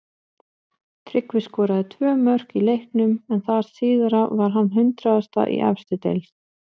Tryggvi skoraði tvö mörk í leiknum en það síðara var hans hundraðasta í efstu deild.